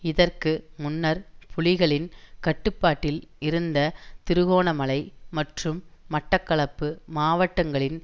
இதற்கு முன்னர் புலிகளின் கட்டுப்பாட்டில் இருந்த திருகோணமலை மற்றும் மட்டக்களப்பு மாவட்டங்களின்